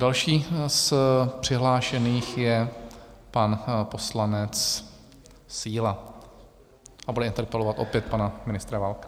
Další z přihlášených je pan poslanec Síla a bude interpelovat opět pana ministra Válka.